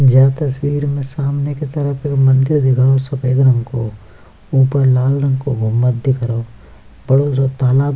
जा तस्वीर में सामने की तरफ एक मंदिर दिख रहो सफेद रंग को ऊपर लाल रंग को घुममत दिख रहो पड़ोस सो तालाब --